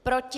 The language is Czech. Proti?